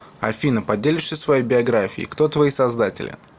афина поделишься своей биографией кто твои создатели